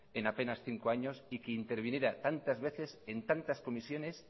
en apenas cinco años y que interviniera tantas veces en tantas comisiones